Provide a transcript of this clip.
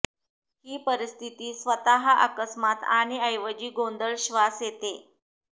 ही परिस्थिती स्वतः अकस्मात आणि ऐवजी गोंधळ श्वास येते